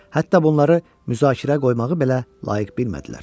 Hətta bunları müzakirəyə qoymağı belə layiq bilmədilər.